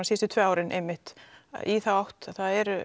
síðustu tvö árin einmitt í þá átt að það er